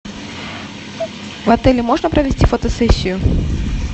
в отеле можно провести фотосессию